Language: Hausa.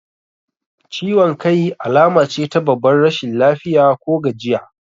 Ciwan kai alamace ta babbar rashin lafiya ko gajiya